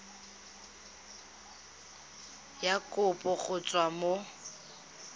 ya kopo go tswa mo